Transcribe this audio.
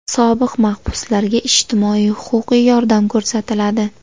Sobiq mahbuslarga ijtimoiy-huquqiy yordam ko‘rsatiladi.